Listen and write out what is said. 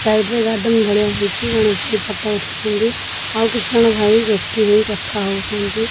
Side ରେ garden ଭଳିଆ ହେଇଚି ଜଣେ ଭାଇ ଫଟୋ ଉଠାଉ ଛନ୍ତି ଆଉ କିଛି ଜଣ ଭାଇ ଗୋଷ୍ଟି ହେଇ କଥା ହୋଉଛନ୍ତି।